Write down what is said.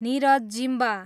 Niraj Zimba